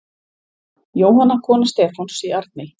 Jóhanna, kona Stefáns í Arney.